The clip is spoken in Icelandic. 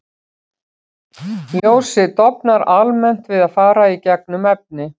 Ljósið dofnar almennt við að fara í gegnum efni.